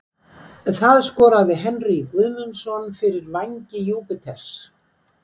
Það skoraði Henrý Guðmundsson fyrir Vængi Júpiters.